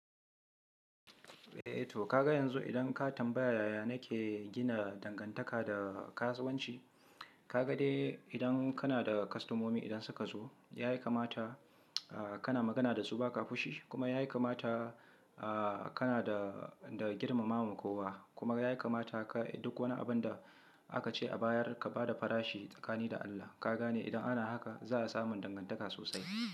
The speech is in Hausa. Eh to kaga yanzu idan ka tambaya yaya nake gina dangantaka da kasuwanci, kaga dai idan kana da kwastomomi idan suka zo ya kamata kana magana da su ba ka fushi kuma yayi kamata kana da girmamawa ma kowa kuma yayi kamata ka duk wani abin da aka ce a bayar ka ba da farashi tsakanin da Allah. Ka gane idan ana haka za a samu dangantaka sosai.